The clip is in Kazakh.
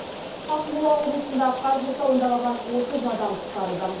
ақмола облысында қар құрсауында қалған отыз адам құтқарылды